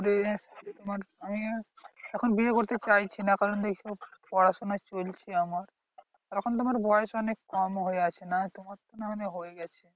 করে আমার আমি এখন বিয়ে করতে চাইছি না কারণ পড়াশোনা চলছে আমার। এখন তো আমার বয়স অনেক কম হয়ে আছে নাহলে তো হয়ে গেছি